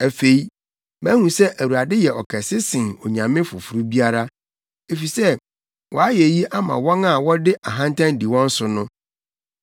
Afei, mahu sɛ Awurade yɛ ɔkɛse sen onyame foforo biara, efisɛ wayɛ eyi ama wɔn a wɔde ahantan di wɔn so no.”